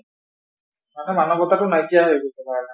মানে মানৱতাটো নাইকিয়া হৈ গৈছে